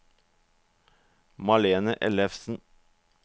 Malene Ellefsen